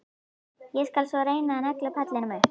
Ég skal svo reyna að negla pallinn upp.